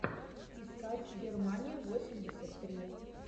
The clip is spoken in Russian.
искать германия восемьдесят три